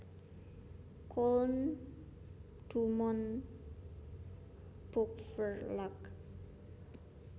Koeln DuMont Buchverlag